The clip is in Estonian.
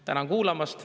Tänan kuulamast.